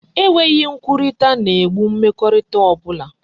E nweghi nkwukorita na e gbo mmekorita obula